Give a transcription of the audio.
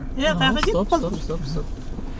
е қай хаққа кетіп қалдық стоп стоп